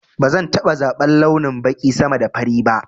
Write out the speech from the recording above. Bazan taɓa zaban launin baƙi sama da fari ba